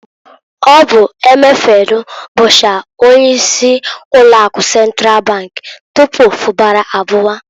Ọ bu Emefielu bụchara onye isi ụlọ akụ Sentral bank tupu Fubara abụwa.